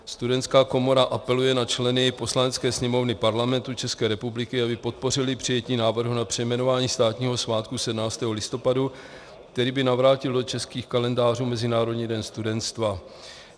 Studentská komora apeluje na členy Poslanecké sněmovny Parlamentu České republiky, aby podpořili přijetí návrhu na přejmenování státního svátku 17. listopadu, který by navrátil do českých kalendářů Mezinárodní den studentstva.